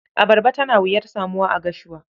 Abarba tana wuyar samuwa a Gashuwa.